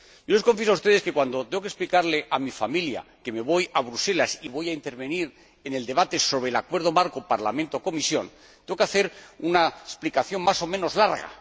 Les confieso a ustedes que cuando tengo que explicarle a mi familia que me voy a Estrasburgo y voy a intervenir en el debate sobre el Acuerdo marco Parlamento Comisión, tengo que hacer una explicación más o menos larga.